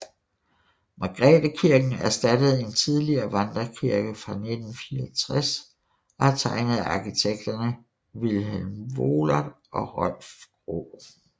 Margrethekirken erstattede en tidligere vandrekirke fra 1964 og er tegnet af arkitekterne Vilhelm Wohlert og Rolf Graae